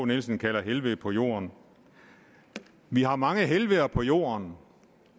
nielsen kalder helvede på jord vi har mange helveder på jord